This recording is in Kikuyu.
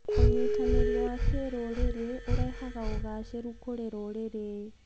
ũnyitanĩri wa kĩrũrĩrĩ ũrehaga ũgacĩĩru kũrĩ rũrĩrĩ.